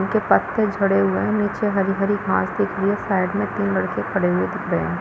उधर पत्ते झड़े हुए है नीचे हरी-हरी घांस दिख रही है साइड में तीन लड़के खड़े हुए दिख रहे है।